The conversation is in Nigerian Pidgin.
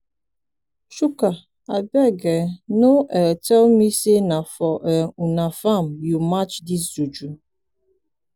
chuka abeg um no um tell me say na for um una farm you match dis juju.